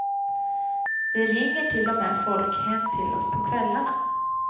Det ringer till och med folk hem till oss på kvällarna.